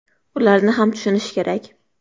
Ularni ham tushunish kerak.